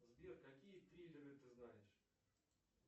сбер какие триллеры ты знаешь